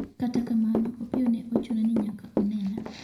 Kata kamano, Opiyo ne ochuno ni nyaka onena